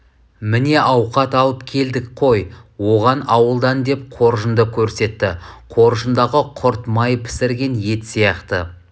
міне ауқат алып келдік қой оған ауылдан деп қоржынды көрсетті қоржындағы құрт май пісірген ет сияқты